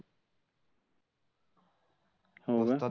हो का?